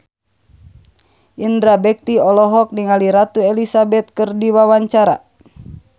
Indra Bekti olohok ningali Ratu Elizabeth keur diwawancara